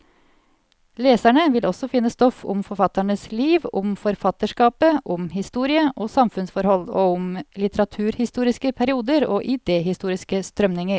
Leserne vil også finne stoff om forfatternes liv, om forfatterskapet, om historie og samfunnsforhold, og om litteraturhistoriske perioder og idehistoriske strømninger.